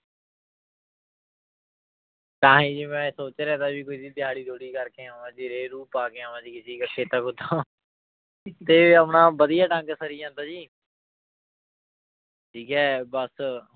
ਤਾਂ ਹੀ ਜੀ ਮੈਂ ਸੋਚ ਰਿਹਾ ਤਿਆਰੀ ਤਿਊਰੀ ਕਰਕੇ ਆਵਾਂ ਜੀ ਰੇਹ ਰੂਹ ਪਾ ਕੇ ਆਵਾਂ ਜੀ ਕਿਸੇ ਕੇ ਖੇਤਾਂ ਖੂਤਾਂ ਤੇ ਆਪਣਾ ਵਧੀਆ ਡੰਗ ਸਰੀ ਜਾਂਦਾ ਜੀ ਠੀਕ ਹੈ ਬਸ